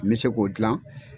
N bɛ se k'o dilan